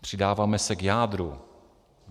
Přidáváme se k jádru.